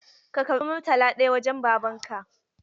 Ka karɓa Murtala ɗaya wajen Babanka!